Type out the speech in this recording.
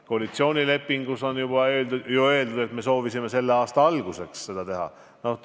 Koalitsioonilepingus on ju öeldud, et me soovisime selle aasta alguseks teha.